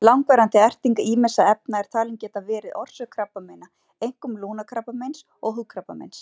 Við kveðjum Þórunni og Óla sem standa á tröppunum og veifa gestum sínum úr hlaði.